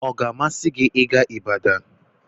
Ọ ga-amasị gị ịga Ibadan?